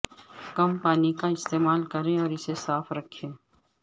کم پانی کا استعمال کریں اور اسے صاف رکھیں